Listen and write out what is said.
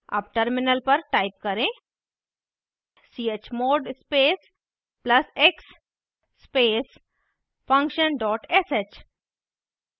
terminal पर type करें chmod space plus + x space function dot sh